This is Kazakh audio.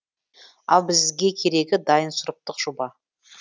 ал бізге керегі дайын сұрыптық жоба